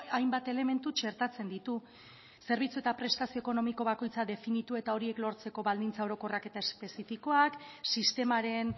hainbat elementu txertatzen ditu zerbitzu eta prestazio ekonomiko bakoitza definitu eta horiek lortzeko baldintza orokorrak eta espezifikoak sistemaren